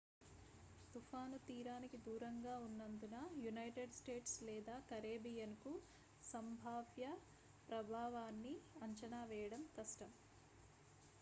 తుఫాను తీరానికి దూరంగా ఉన్నందున యునైటెడ్ స్టేట్స్ లేదా కరేబియన్కు సంభావ్య ప్రభావాన్ని అంచనా వేయడం కష్టం